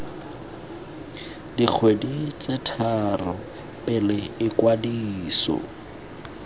dikgweding tse tharo pele ikwadiso